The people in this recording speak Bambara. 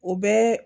O bɛɛ